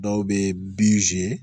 Dɔw bɛ